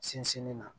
Sinsinni na